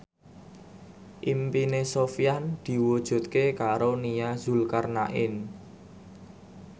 impine Sofyan diwujudke karo Nia Zulkarnaen